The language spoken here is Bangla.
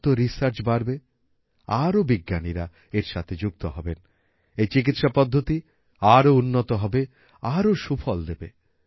যত রিসার্চ বাড়বে আরো বিজ্ঞানীরা এর সাথে যুক্ত হবেন এই চিকিৎসা পদ্ধতি আরো উন্নত হবে আরো সুফল দেবে